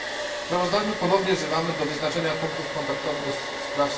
W sprawozdaniu ponownie wzywamy do wyznaczenia punktów kontaktowych ds.